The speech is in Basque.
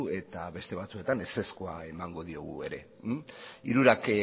eta beste batzuetan ezezkoa emango diogu ere hirurak